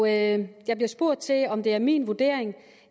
jeg bliver spurgt om det er min vurdering